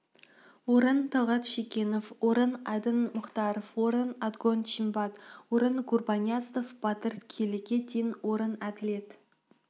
орын талғат шегенов орын айдын мухтаров орын отгон чинбат орын гурбанязов батыр келіге дейін орын әділет